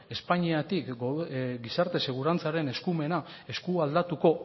espainiatik gizarte segurantzaren eskumena eskualdatuko